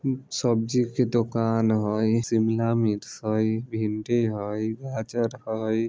एक सब्जी के दुकान हेय शिमला मिर्च हेय भिंडी हेय गाजर हेय।